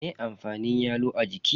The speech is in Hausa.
Me amfanin yalo a jiki?